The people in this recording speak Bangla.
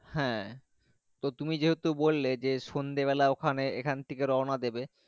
হ্যাঁ তুমি যেহেতু বললে সন্ধে বেলা এখানে এখান থাকে রওনা দিবে।